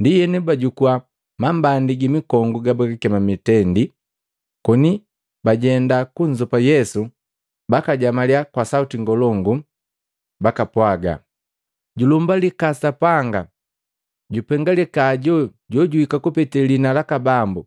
Ndienu bajukuwa mambandi gi mikongu gabagakema mitendi, koni bajenda kunzopa Yesu bakajamaliya kwa sauti ngolongu bakapwaga, “Julumbalikaa Sapanga! Jupengalika hajo jojuika kupete liina laka Bambu.